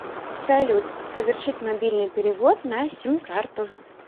салют совершить мобильный перевод на сим карту